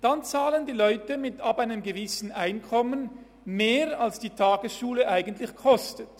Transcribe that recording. Dann zahlen die Leute ab einem gewissen Einkommen mehr, als die Tagesschule tatsächlich kostet.